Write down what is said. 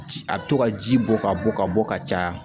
Ci a bɛ to ka ji bɔ ka bɔ ka bɔ ka caya